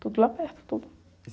Tudo lá perto, tudo.